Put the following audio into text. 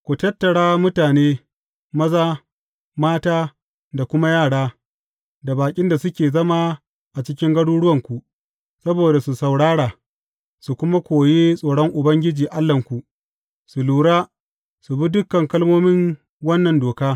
Ku tattara mutane, maza, mata da kuma yara, da baƙin da suke zama a cikin garuruwanku, saboda su saurara, su kuma koyi tsoron Ubangiji Allahnku, su lura, su bi dukan kalmomin wannan doka.